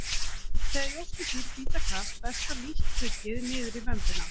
Þegar jórturdýr bíta gras berst það lítt tuggið niður í vömbina.